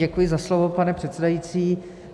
Děkuji za slovo, pane předsedající.